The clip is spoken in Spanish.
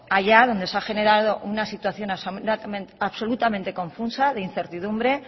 allá donde se ha generado una situación absolutamente confusa de incertidumbre